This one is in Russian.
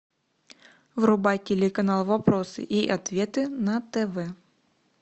врубай телеканал вопросы и ответы на тв